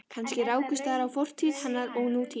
Kannski rákust þar á fortíð hennar og nútíð.